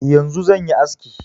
Yanzu zan yi aski.